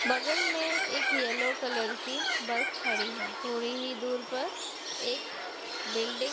बगल में एक येलो कलर की बस खड़ी है थोड़ी ही दूर पर एक बिल्डिंग --